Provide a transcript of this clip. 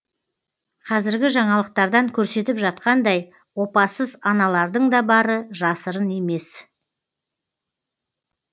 қазіргі жаңалықтардан көрсетіп жатқандай опасыз аналардың да бары жасырын емес